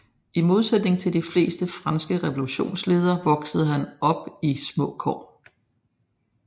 I modsætning til de fleste franske revolutionsledere voksede han op i små kår